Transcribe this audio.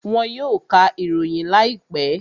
Wọn yóò ka ìròyìn láìpẹ́